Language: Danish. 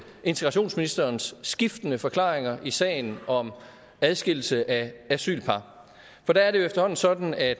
integrationsministerens skiftende forklaringer i sagen om adskillelse af asylpar for det er jo efterhånden sådan at